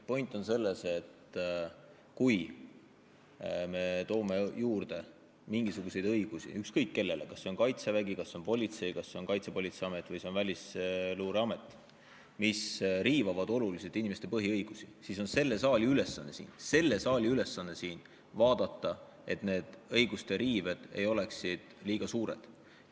Point on selles, et kui me toome juurde mingisuguseid õigusi – ükskõik kellele, kas see on Kaitsevägi, kas see on politsei, kas see on Kaitsepolitseiamet või see on Välisluureamet –, mis riivavad oluliselt inimeste põhiõigusi, siis on selle saali ülesanne siin vaadata, et need õiguste riived ei oleks liiga suured.